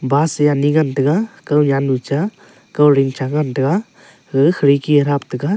bus ani ngan tega kow ley anu cha kow lincha ngan tega kow khirki anu cha.